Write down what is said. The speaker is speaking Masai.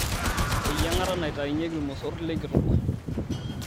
Eyiangata naitainyieki ilmosorr lenkitok.